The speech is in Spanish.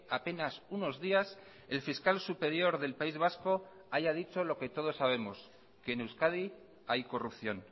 apenas unos días el fiscal superior del país vasco haya dicho lo que todos sabemos que en euskadi hay corrupción